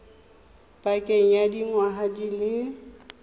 pakeng ya dingwaga di le